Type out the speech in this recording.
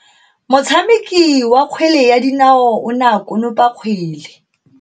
Motshameki wa kgwele ya dinao o ne a konopa kgwele.